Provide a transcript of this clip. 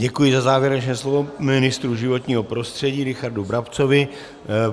Děkuji za závěrečné slovo ministru životního prostředí Richardu Brabcovi.